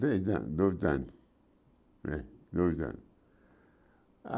Três anos dois anos né dois anos.